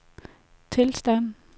tilstand